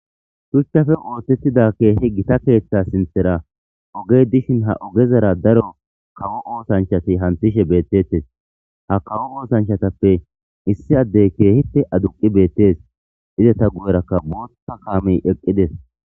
Shuchchafe ooththettida keehi gita keeththa sinthera ogey dishin ha ogezara daro kawo oosanchati hanthishe beettettes ha kawo oosanchatappe issi addey keehite aduqi beettes izeta gu7erakka bootta kaamey eqqides.